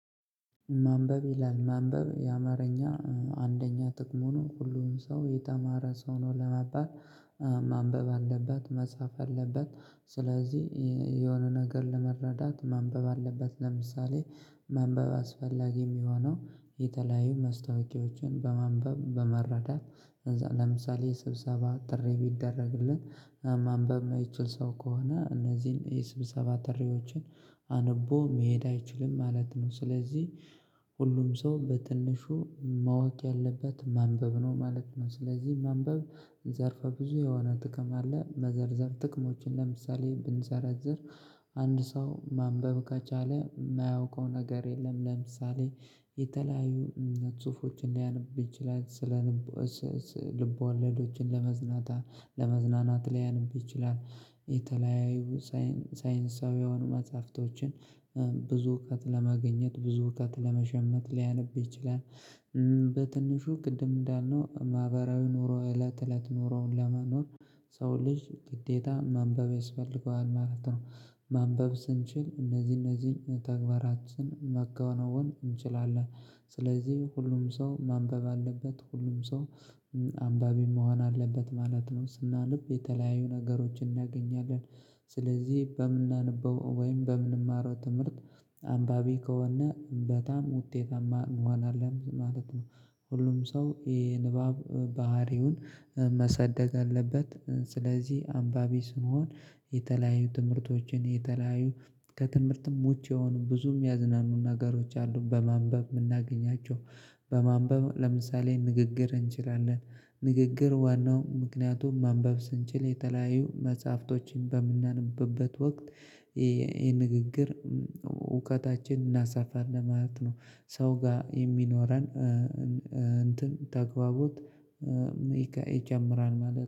ማንበብ ይላል ማንበብ የአማርኛ አንደኛ ጥቅሙ ነው ሁሉንም ሰው የተማረ ሰው ነው ለመባል ማንበብ አለበት መጻፍ አለበት። ስለዚህ የሆነ ነገር ለመረዳት ማንበብ አለበት። ለምሳሌ ማንበብ አስፈላጊ ሚሆነው የተለያዩ መስታወቂያዎችን በማንበብ በመረዳት። ለምሳሌ ስብሰባ ጥሪ ቢደረግልን ማንበብ ማይችል ሰው ከሆነ እነዚህን የስብሰባ ጥሪዎችን አንቦ መሄድ አይችልም ማለት ነው። ስለዚህ ሁሉም ሰው በትንሹ ማወቅ ያለበት ማንበብ ነው ማለት ነው። ስለዚህ ማንበብ ዘርፈ ብዙ የሆነ ጥቅም አለ። መዘርዘር ጥቅሞችን ለምሳሌ ብንዘረዝር አንድ ሰው ማንበብ ከቻለ ማያውቀው ነገር የለም። ለምሳሌ የተለያዩ ጹፎችን ሊያነብ ይችላል። ስለ ልብ ወለዶችን ለመዝናት ለመዝናናት ሊያነብ ይችላል። የተለያዩ ሳይንሳዊያዊ መጽሐፍቶችን ብዙ እውቀት ለማግኘት ብዙ እውቀት ለመሸመት ሊያነብ ይችላል። በትንሹ ቅድም እንዳልነው ማህበራዊ ኑሮ እለት እለት ኑሮውን ለመኖር ሰው ልጅ ግዴታ ማንበብ ያስፈልገዋል ማለት ነው። ማንበብ ስንችል እነዚህ እነዚህን ተግባራችን ማከናወን እንችላለን። ስለዚህ ሁሉም ሰው ማንበብ አለበት ሁሉም ሰው አምባቢ መሆን አለበት ማለት ነው። ስናነብ የተለያዩ ነገሮችን እናገኛለን። ስለዚህ በምንናነበው ወይም በምንማረው ትምህርት አንባቢ ከሆን በጣም ውጤታማ እንሆናለን ማለት ነው። ሁሉም ሰው የንባብ ባህሪውን መሰደግ አለበት። ስለዚህ አንባቢ ስንሆን የተለያዩ ትምህርቶችን የተለያዩ ከትምህርትም ውጭ የሆኑ ብዙ ሚያዝናኑ ነገሮች አሉን በማንበብ ምናገኛቸው። በማንበብ ለምሳሌ ንግግር እንችላለን። ንግግር ዋናው ምክንያቱም ማንበብ ስንችል የተለያዩ መጽሐፍቶችን በምናነብበት ወቅት ይሄ ንግግር እውቀታችን እናሳፋለን ማለት ነው። ሰው ጋር የሚኖረን ተግባቦት ይጨምራል ማለት